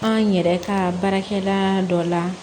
An yɛrɛ ka baarakɛla dɔ la